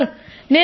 sir నేను స్ట్